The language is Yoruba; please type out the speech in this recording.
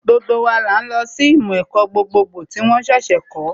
Gbogbo wa là ń lọ sí ìmọ̀ ẹ̀kọ́ gbogbogbò tí wón ṣẹ̀ṣẹ̀ kọ̀ọ́